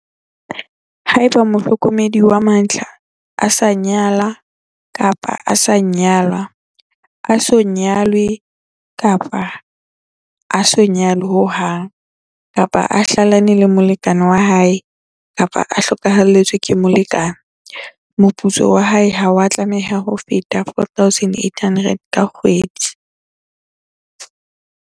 Haeba mohlokomedi wa mantlha a sa nyala-nyalwa, a so nyale-nyalwe ho hang, kapa a hlalane le molekane wa hae kapa a hlokahalletswe ke molekane, moputso wa hae ha wa tlameha ho feta R4 800 ka kgwedi.